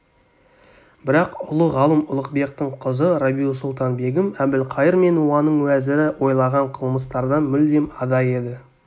бірақ ұлы ғалым ұлықбектің қызы рабиу-сұлтан-бегім әбілқайыр мен оның уәзірі ойлаған қылмыстардан мүлдем ада еді